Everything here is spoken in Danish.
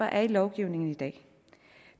er i lovgivningen i dag